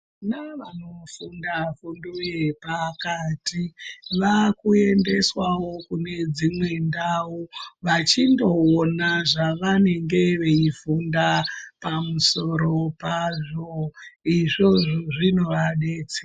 Navanofunda fundo yepakati vakuendeswawo kune dzimwe ndawu vachindoona zvavanenge veifunda pamusoro pazvo izvozvo zvinovadetsera .